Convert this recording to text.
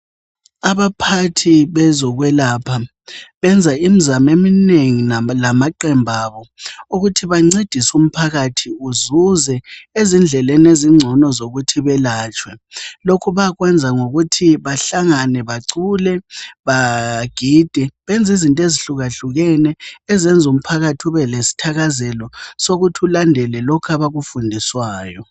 Abaphathi bezokwelapha benza imizamo eminengi lamaqembu abo ukuthi bencedise umphakathi uzuze ezindleleni ezingcono zokuthi belatshwe. Lokhu bayakwenza ngokuthi bahlangane bacule, bagide benz' izinto ezihlukahlukene ezenz' umphakathi ube lesthakazelo sokuthi ulandele lokho abakufundiswayo.